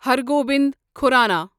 ہر گوبند کھورانا